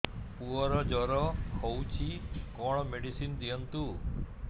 ପୁଅର ଜର ହଉଛି କଣ ମେଡିସିନ ଦିଅନ୍ତୁ